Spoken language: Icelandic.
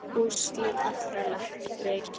Úrslit allra leikja